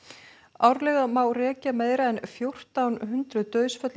árlega má rekja meira en fjórtán hundruð dauðsföll í